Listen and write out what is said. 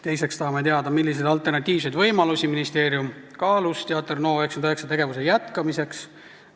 Teiseks tahame teada, milliseid alternatiivseid võimalusi ministeerium kaalus Teater NO99 tegevuse jätkamiseks.